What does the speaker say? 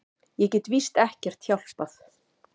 Ég get víst ekkert hjálpað.